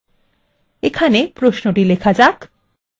এখানে প্রশ্নটি লেখা যাক :